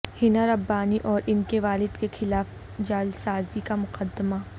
حنا ربانی اور انکے والد کے خلاف جعلسازی کا مقدمہ